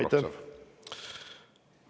Aitäh!